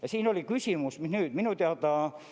Ja siin oli küsimus, mis nüüd.